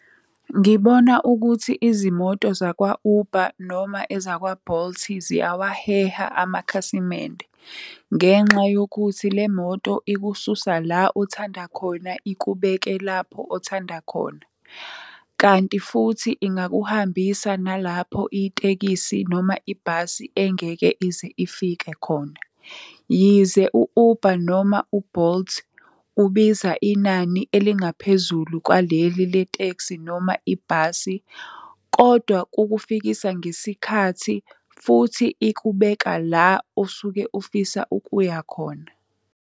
Ngibona ukuthi izimoto zakwa-Uber noma ezakwa-Bolt ziyawaheha amakhasimende, ngenxa yokuthi le moto ikususa la othanda khona, ikubeke lapho othanda khona. Kanti futhi ingakuhambisa nalapho itekisi noma ibhasi engeke ize ifike khona. Yize u-Uber noma u-Bolt ubiza inani elingaphezulu kwaleli le tekisi noma ibhasi, kodwa kukufikisa ngesikhathi, futhi ikubeka la osuke ufisa ukuya khona.